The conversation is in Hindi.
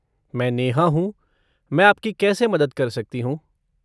मैं नेहा हूँ, मैं आपकी कैसे मदद कर सकती हूँ?